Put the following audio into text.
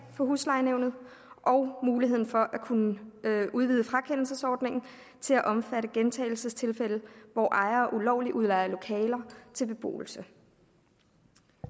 for huslejenævnet og muligheden for at kunne udvide frakendelsesordningen til at omfatte gentagelsestilfælde hvor ejere ulovligt udlejer lokaler til beboelse